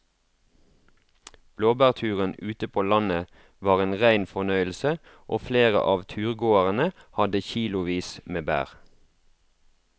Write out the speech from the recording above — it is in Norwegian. Blåbærturen ute på landet var en rein fornøyelse og flere av turgåerene hadde kilosvis med bær.